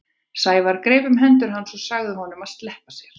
Sævar greip um hendur hans og sagði honum að sleppa sér.